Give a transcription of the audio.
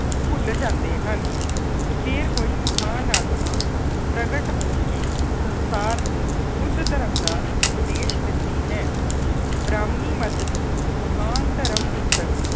ਭੁੱਲ ਜਾਂਦੇ ਹਨ। ਫੇਰ ਕੋਈ ਮਹਾਨ ਆਤਮਾ ਪ੍ਰਗਟ ਹੋ ਕੇ ਸੰਸਾਰ ਨੂੰ ਬੁੱਧ ਧਰਮ ਦਾ ਉੇਪਦੇਸ਼ ਦਿੰਦੀ ਹੈ। ਬ੍ਰਾਹਮੀਣ ਮੱਤ ਦੀ ਮਹਾਨ ਧਰਮ ਪੁਸਤਕ